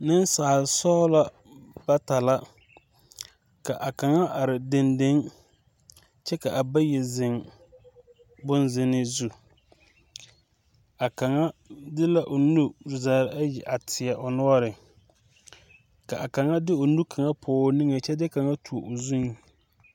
Ninsaalisɔglo bata la ka a kang arẽ denden kye ka a bayi zen bun zene zu a kanga de la ɔ nu zaa ayi a teɛ ɔ nɔɔri ka a kang de ɔ nu kang pɔg ɔ ninge kye de gang tuo ɔ zung.